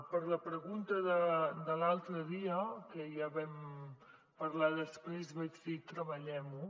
per la pregunta de l’altre dia que ja en vam parlar després vaig dir treballem ho